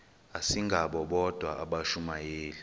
asingabo bodwa abashumayeli